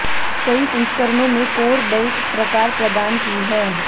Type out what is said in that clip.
कई संस्करणों में कोर बेल्ट प्रकार प्रदान की है